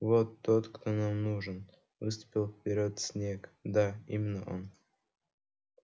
вот тот кто нам нужен выступил вперёд снегг да именно он